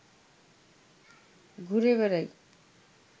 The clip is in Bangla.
ঘুরে বেড়াই